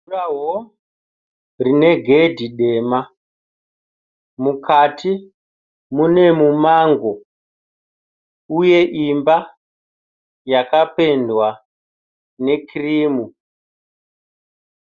Jurawo rine gedhi dema mukati mune mumango uye imba yakapendwa nekirimu.